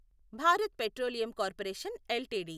Bharat petroleum corporation LTD